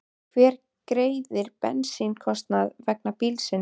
Hver greiðir bensínkostnað vegna bílsins?